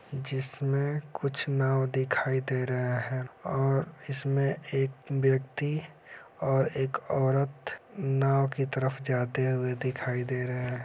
जिसमें कुछ नाव दिखाई दे रहा है और इसमें एक व्यक्ति और एक औरत नाव की तरफ जाते हुए दिखाई दे रहे हैं।